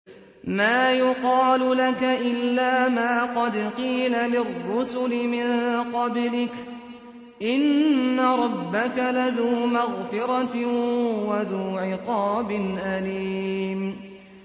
مَّا يُقَالُ لَكَ إِلَّا مَا قَدْ قِيلَ لِلرُّسُلِ مِن قَبْلِكَ ۚ إِنَّ رَبَّكَ لَذُو مَغْفِرَةٍ وَذُو عِقَابٍ أَلِيمٍ